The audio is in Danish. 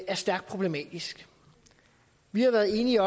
er stærkt problematisk vi har været enige